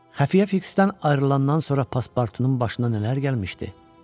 Xəfiyyə Fiksdən ayrılandan sonra paspartunun başına nələr gəlmişdi?